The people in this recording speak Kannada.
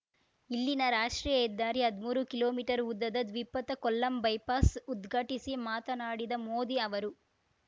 ಇಲ್ಲಿನ ರಾಷ್ಟ್ರೀಯ ಹೆದ್ದಾರಿಯ ಹದ್ಮೂರು ಕಿಲೋಮೀಟರ್ ಉದ್ದದ ದ್ವಿಪಥ ಕೊಲ್ಲಂ ಬೈಪಾಸ್‌ ಉದ್ಘಾಟಿಸಿ ಮಾತನಾಡಿದ ಮೋದಿ ಅವರು